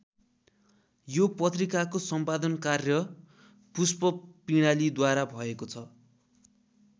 यो पत्रिकाको सम्पादन कार्य पुष्प पिंडालीद्वारा भएको छ।